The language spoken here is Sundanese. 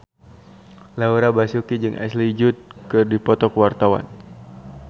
Laura Basuki jeung Ashley Judd keur dipoto ku wartawan